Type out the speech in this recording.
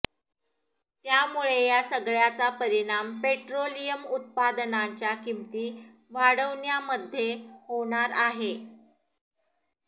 त्यामुळे या सगळ्याचा परिणाम पेट्रोलियम उत्पादनांच्या किंमती वाढण्यामध्ये होणार आहे